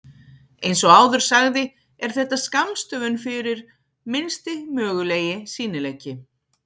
Eins og áður sagði er þetta skammstöfun fyrir Minnsti mögulegi sýnileiki.